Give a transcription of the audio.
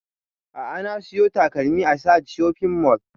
A'a na siyo takalmin a sahad shopping mall